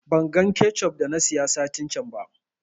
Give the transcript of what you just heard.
Ban gan kechup da na siya satin can ba